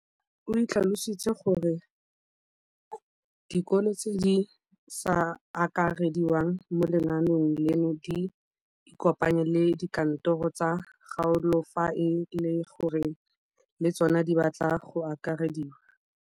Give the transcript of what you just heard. O tlhalositse gore dikolo tse di sa akarediwang mo lenaaneng leno di ikopanye le dikantoro tsa kgaolo fa e le gore le tsona di batla go akarediwa.